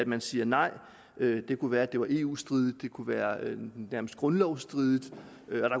man siger nej det kunne være at det var eu stridigt det kunne være nærmest grundlovsstridigt